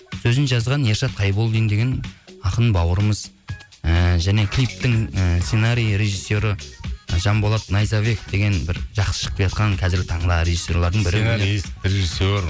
сөзін жазған ершат қайболдин деген ақын бауырымыз ыыы және клиптің ы сценариі режиссері і жанболат найзабеков деген бір жақсы шығып келеатқан қазіргі таңда режиссерлардың режиссер